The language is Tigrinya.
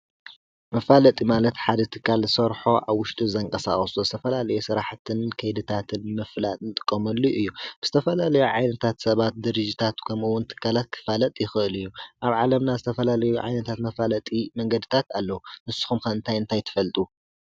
መፋለጢ ማለት ሓደ እትካል ሠርሖ ኣውሽውጢ ዘንቀሳቐሱ ዝተፈላሊየ ሥራሕትን ከይድታትል ምፍላጥ ንጥቆመሉ እ። ብስተፈላለዩ ዓይነታት ሰባት ድሪጅታት ከምውን ቲካላት ክፋለጥ ይኽእል እዩ ኣብ ዓለምና ዝተፈላለዩ ዓይነታት መፋለጢ መንገድታት ኣለዉ ንስኹም ከእንታይ ንታይትፈልጡ?